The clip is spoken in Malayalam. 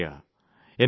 മുന്നോട്ടു വരിക